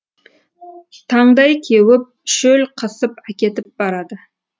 таңдай кеуіп шөл қысып әкетіп барады